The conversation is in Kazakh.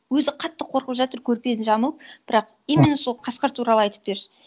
өзі қатты қорқып жатыр көрпені жамылып бірақ именно сол қасқыр туралы айтып берші